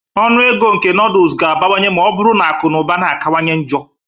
Ọnụ ego nke nodles ga-abawanye ma ọ bụrụ na akụ na ụba na-akawanye njọ